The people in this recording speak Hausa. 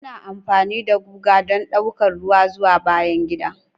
Ana amfani da guga don ɗaukar ruwa zuwa bayan gida.